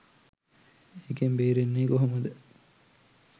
එකෙන් බේරෙන්නේ කොහමද,